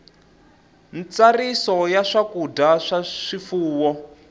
ntsariso ya swakudya swa swifuwo